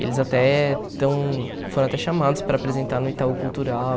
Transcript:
Eles até tão foram até chamados para apresentar no Itaú Cultural.